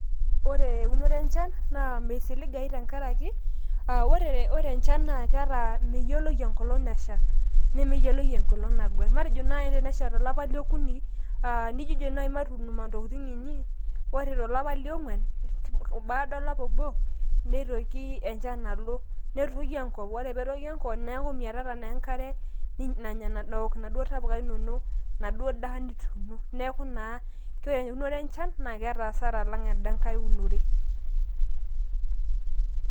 Ore eunoto enchan naa meisiligai tenkaraki, aa ore enchan na keeta meyioloi enkolong nasha, nemeyioloi enkolong nagwer matajo nai tenesha tolapa leokuni aa nijojo nai matuun intokitin inyi ore tolapa leongwan baada olapa obo nitoki enchan alo netoyu enkop ore petoyu enkop neaku miatata naa enkare nanya naduo tapuka inonok naduo daa nituuno neaku naa eunoto enchan naa hasara alang endankai unore .